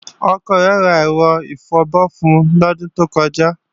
Ọkọ rẹ̀ ra ẹ̀rọ ìfabọ́ fun lọ́dún tó kọjá